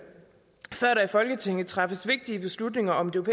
før der i folketinget træffes vigtige beslutninger om